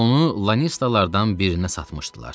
Onu lanistalardan birinə satmışdılar.